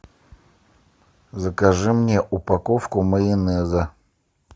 закажи мне упаковку майонеза